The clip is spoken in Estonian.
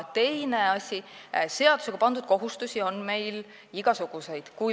Teine asi, seadusega pandud kohustusi on meil igasuguseid.